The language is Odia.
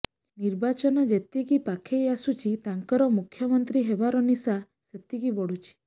ନିର୍ବାଚନ ଯେତିକି ପାଖେଇ ଆସୁଛି ତାଙ୍କର ମୁଖ୍ୟମନ୍ତ୍ରୀ ହେବାର ନିଶା ସେତିକି ବଢୁଛି